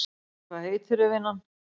Hvað heitirðu vinan?